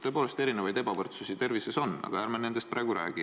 Tõepoolest, ebavõrdsusi tervises on, aga ärme nendest praegu räägi.